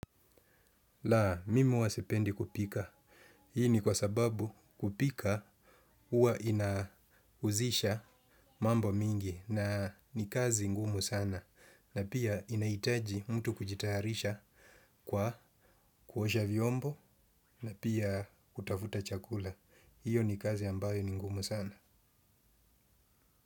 La, mimi huwa sipendi kupika. Hii ni kwa sababu kupika huwa inahusisha mambo mingi na ni kazi ngumu sana. Na pia inahitaji mtu kujitayarisha kwa kuosha vyombo na pia kutafuta chakula. Hio ni kazi ambayo ni ngumu sana.